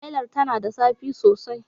Hailar tana da zafi sosai